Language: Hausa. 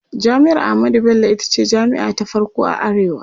jami'ar ahmadu Bello itace jami'a ta farko a arewa